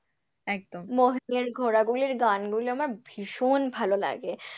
মহীনের ঘোড়াগুলির গানগুলি আমার ভীষণ ভালোলাগে।